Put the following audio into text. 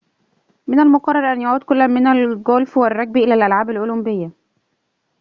من المقرر أن يعود كل من الجولف والرجبي إلى الألعاب الأولمبية